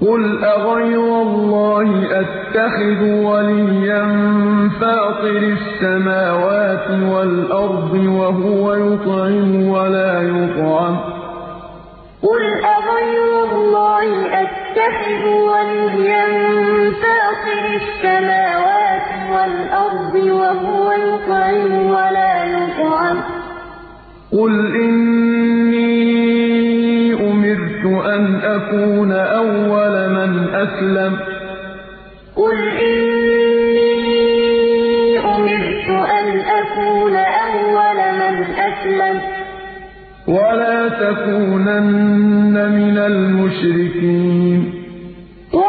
قُلْ أَغَيْرَ اللَّهِ أَتَّخِذُ وَلِيًّا فَاطِرِ السَّمَاوَاتِ وَالْأَرْضِ وَهُوَ يُطْعِمُ وَلَا يُطْعَمُ ۗ قُلْ إِنِّي أُمِرْتُ أَنْ أَكُونَ أَوَّلَ مَنْ أَسْلَمَ ۖ وَلَا تَكُونَنَّ مِنَ الْمُشْرِكِينَ قُلْ أَغَيْرَ اللَّهِ أَتَّخِذُ وَلِيًّا فَاطِرِ السَّمَاوَاتِ وَالْأَرْضِ وَهُوَ